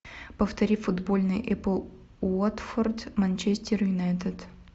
повтори футбольный апл уотфорд манчестер юнайтед